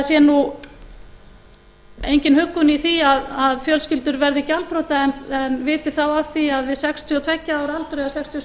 sé nú engin huggun í því að fjölskyldur verði gjaldþrota en viti þá af því að við sextíu og tveggja ára aldur eða sextíu